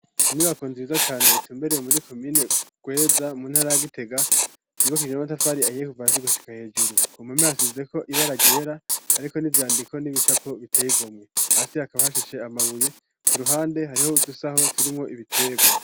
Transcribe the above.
Inyubako nziza cane itumbereye muri komine Rweza mu ntara ya Gitega yubakishije n'amatafari ahiye kuva hasi gushika hejuru, ku mpome hasizeko ibara ryera hariko n'ivyandiko n'ibicapo biteye igomwe, hasi hakaba hashashe amabuye, ku ruhande hariho udusaho turimwo ibitegwa.